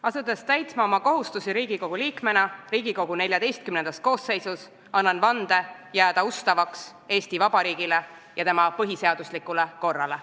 Asudes täitma oma kohustusi Riigikogu liikmena Riigikogu XIV koosseisus, annan vande jääda ustavaks Eesti Vabariigile ja tema põhiseaduslikule korrale.